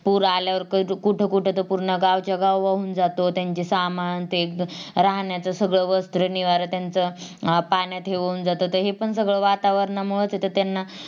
पूर आल्यावर कुठं कुठं तर पूर्ण च्या पूर्ण गाव वाहून जात त्यांचं ते सामान ते राहण्याचं सगळं वस्त्र निवारा त्यांचं पाण्यात वाहून जात तहे पण सगळं वातावरणामुळं तिथं त्यांना